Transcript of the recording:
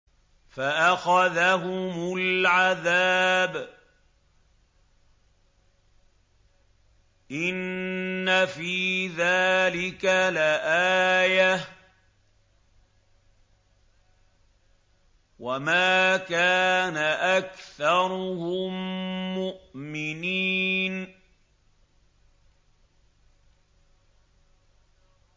فَأَخَذَهُمُ الْعَذَابُ ۗ إِنَّ فِي ذَٰلِكَ لَآيَةً ۖ وَمَا كَانَ أَكْثَرُهُم مُّؤْمِنِينَ